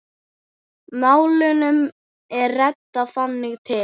Málunum er reddað þangað til.